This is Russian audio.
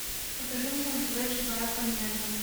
покажи мне на тв живая планета